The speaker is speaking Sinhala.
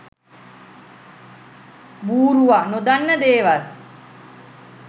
බූරුවා නොදන්නා දේවල්